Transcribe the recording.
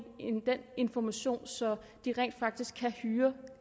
information så de rent faktisk kan hyre